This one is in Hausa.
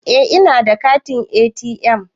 Eh ina da katin ATM.